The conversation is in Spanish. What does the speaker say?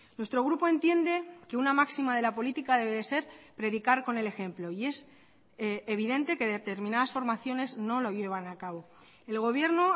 nuestro grupo entiende que una máxima de la política debe de ser predicar con el ejemplo y es evidente que determinadas formaciones no lo llevan a cabo el gobierno